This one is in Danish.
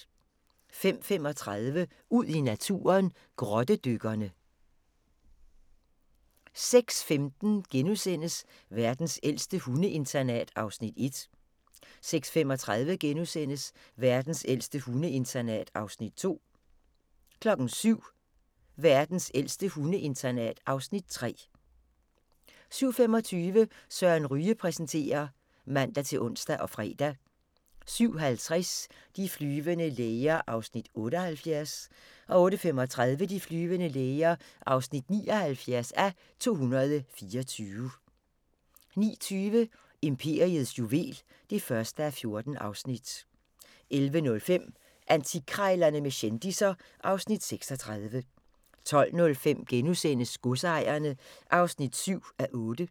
05:35: Ud i naturen: Grottedykkerne 06:15: Verdens ældste hundeinternat (Afs. 1)* 06:35: Verdens ældste hundeinternat (Afs. 2)* 07:00: Verdens ældste hundeinternat (Afs. 3) 07:25: Søren Ryge præsenterer (man-ons og fre) 07:50: De flyvende læger (78:224) 08:35: De flyvende læger (79:224) 09:20: Imperiets juvel (1:14) 11:05: Antikkrejlerne med kendisser (Afs. 36) 12:05: Godsejerne (7:8)*